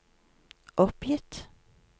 oppgitt